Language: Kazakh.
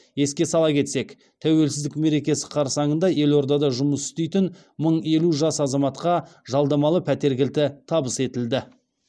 еске сала кетсек тәуелсіздік мерекесі қарсаңында елордада жұмыс істейтін мың елу жас азаматқа жалдамалы пәтер кілті табыс етілді